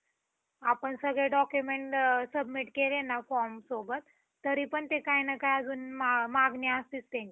आपण सगळे document submit केले ना form सोबत तरी पण ते काही ना काही अजून मागणी असतेच त्यांची.